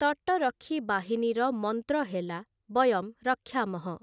ତଟରକ୍ଷୀ ବାହିନୀର ମନ୍ତ୍ର ହେଲା 'ବୟମ୍ ରକ୍ଷାମଃ' ।